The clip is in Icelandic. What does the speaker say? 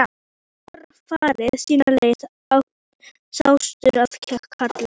Hafi svo hvor farið sína leið, sáttur að kalla.